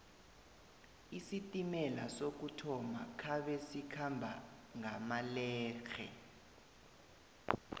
isitimela sokuthoma khabe sikhamba ngamalehle